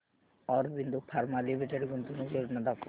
Aurobindo pharma limited गुंतवणूक योजना दाखव